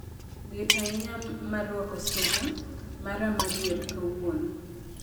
liet ahinya mar rwako sweta mara mar yier kawuono